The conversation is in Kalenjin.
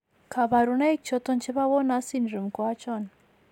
kabarunaik choton chebo Werner's syndrome ko achon?